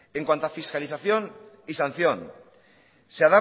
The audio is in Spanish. en cuanto a fiscalización y sanción